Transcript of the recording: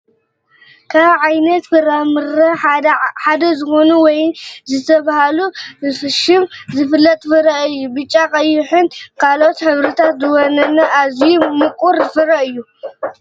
ካብ ዓይነታት ፍራምረ ምረ ሓደ ዝኾነ ወይኒ ብዝበሃል ሽሙ ዝፍለጥ ፍረ እዩ፡፡ ብጫ ቀይንን ካልኦት ሕብርታትን ዝወነነ ኣዝዩ ምቁር ፍረ እዩ፡፡